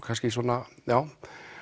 kannski svona já